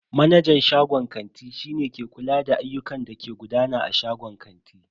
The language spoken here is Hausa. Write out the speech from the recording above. Manajan shagon kanti shi ne ke kula da ayyukan da ke gudana a shagon kanti.